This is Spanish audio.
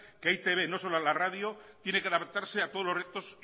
que e i te be no solo es la radio tiene que adaptarse a todos los retos